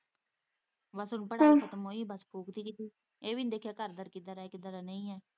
ਬਸ ਹੁਣ ਪੜ੍ਹਾਈ ਖਤਮ ਹੋਈ ਬਸ ਫੁੱਕ ਵੀ ਦਿੱਤੀ ਇਹ ਵੀ ਨੀ ਦੇਖਿਆ ਘਰ ਬਾਰ ਕਿੱਦਾ ਦਾ ਏ ਕਿੱਦਾ ਦਾ ਨਹੀਂ ਏ।